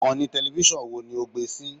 Ìkànnì tẹlẹfísọ̀n wo ni o gbé sí i!